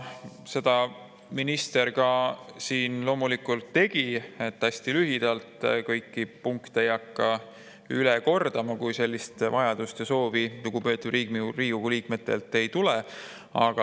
Seda ka minister siin loomulikult tegi, nii et hästi lühidalt, ei hakka kõiki punkte üle kordama, kui sellist soovi lugupeetud Riigikogu liikmetelt ei tule.